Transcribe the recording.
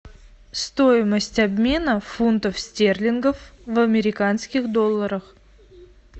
стоимость обмена фунтов стерлингов в американских долларах